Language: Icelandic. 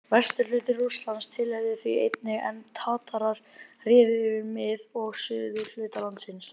Vesturhluti Rússlands tilheyrði því einnig, en Tatarar réðu yfir mið- og suðurhluta landsins.